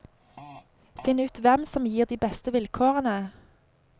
Finn ut hvem som gir de beste vilkårene.